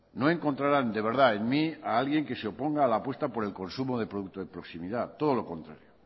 no encontrarán de verdad en mí a alguien que se oponga a la apuesta por el consumo de productos de proximidad todo lo contrario